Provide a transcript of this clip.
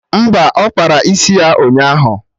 Mba, ọ kpara isi ya ụnyaahụ